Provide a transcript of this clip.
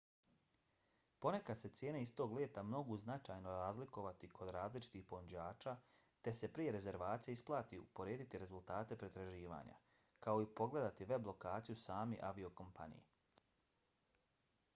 ponekad se cijene istog leta mogu značajno razlikovati kod različitih ponuđača te se prije rezervacije isplati uporediti rezultate pretraživanja kao i pogledati web lokaciju same aviokompanije